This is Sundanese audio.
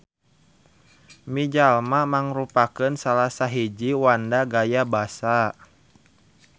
Mijalma mangrupakeun salasahiji wanda gaya basa.